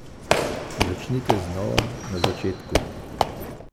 Začnite znova, na začetku!